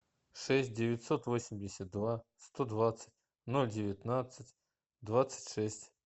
шесть девятьсот восемьдесят два сто двадцать ноль девятнадцать двадцать шесть